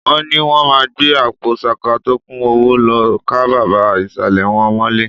Wọ́n ni wọ́n máa gbé àpò ṣaka tó kún owó lọ ká bàbá ìsàlẹ̀ wọn mọ́lé